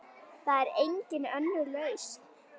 Það er engin önnur lausn.